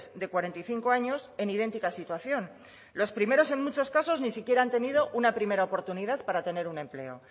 de cuarenta y cinco años en idéntica situación los primeros en muchos casos ni siquiera han tenido una primera oportunidad para tener un empleo